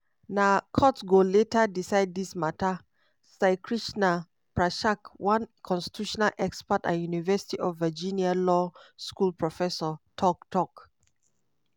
na courts go later decide dis mata saikrishna prakash one constitutional expert and university of virginia law school professor tok. tok.